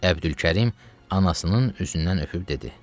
Əbdülkərim anasının üzündən öpüb dedi: